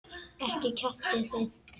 Ekki kjaftið þið.